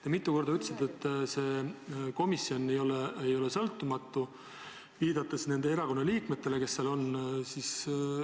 Te mitu korda ütlesite, et see komisjon ei ole sõltumatu, viidates nendele erakondade liikmetele, kes seal on.